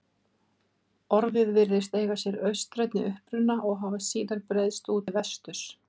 Orðið virðist eiga sér austrænni uppruna og hafa síðar breiðst út til vesturs.